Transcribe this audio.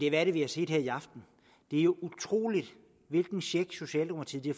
er det vi har set her i aften det er jo utroligt hvilken check socialdemokratiet har